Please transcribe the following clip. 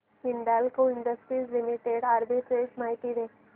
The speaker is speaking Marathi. हिंदाल्को इंडस्ट्रीज लिमिटेड आर्बिट्रेज माहिती दे